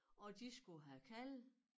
Og de skulle have kalve